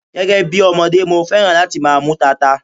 Gẹ́gẹ́ bí ọmọdé, mo féràn láti máa mú tata.